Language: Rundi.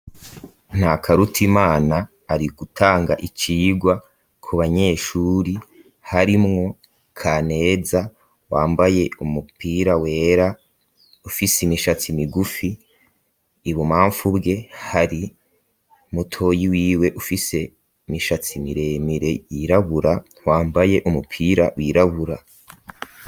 Ntakarutimana ari gutanga icigwa ku banyeshure harimwo Kaneza wambaye umupira wera ufise imishatsi migufi ibumamfu bwe hari mutoyi wiwe ufise imishatsi miremire yirabura wambaye umupira wirabura.